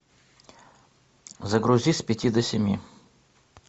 загрузи с пяти до семи